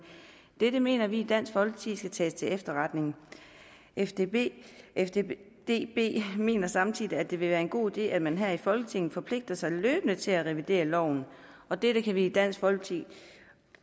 dette mener vi i dansk folkeparti skal tages til efterretning fddb mener samtidig at det vil være en god idé at man her i folketinget forpligter sig løbende til at revidere loven og dette kan vi i dansk folkeparti